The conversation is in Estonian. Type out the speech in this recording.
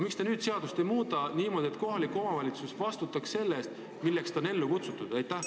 Miks te ei taha muuta seadust nii, et kohalik omavalitsus vastutaks selle eest, milleks ta on ellu kutsutud?